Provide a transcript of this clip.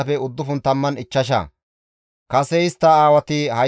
Anatoote dere asatappe 128;